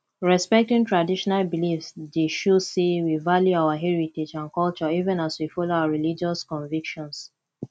respecting traditional beliefs dey show say we value our heritage and culture even as we follow our religious convictions